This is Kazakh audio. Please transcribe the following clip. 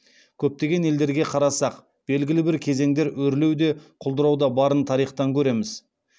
көптеген елдерге қарасақ белгілі бір кезеңдер өрлеу де құлдырау да барын тарихтан көреміз